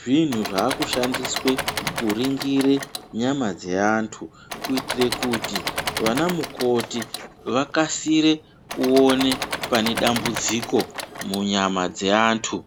zvinhu zvakushandiswe kuringire nyama dzeantu kuitire kuti vana mukoti vakasire kuone pane dambudziko munyama dzeantu.